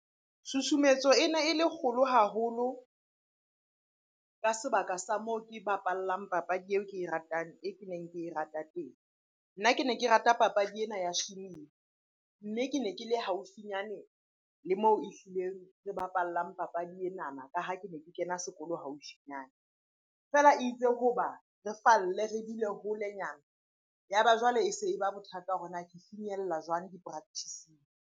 Tshutshumetso e ne e le kgolo haholo ka sebaka sa moo ke bapallang papadi eo ke e ratang, e ke neng ke e rata teng. Nna ke ne ke rata papadi ena ya , mme ke ne ke le haufinyane le moo ehlileng re bapallang papadi enana ka ha ke ne ke kena sekolo haufinyana. Feela itse hoba re falle, re dule holenyana. Ya ba jwale e se e ba bothata hore na ke finyella jwang di-practice-ing.